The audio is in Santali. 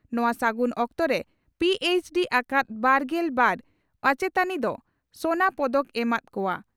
ᱱᱚᱣᱟ ᱥᱟᱹᱜᱩᱱ ᱚᱠᱛᱚᱨᱮ ᱯᱤᱹᱮᱪᱹᱰᱤ ᱟᱠᱟᱫ ᱵᱟᱨᱜᱮᱞ ᱵᱟᱨ ᱚᱪᱮᱛᱟᱱᱤ ᱫᱚ ᱥᱚᱱᱟ ᱯᱚᱫᱚᱠ ᱮᱢᱟᱛ ᱠᱚᱣᱟ ᱾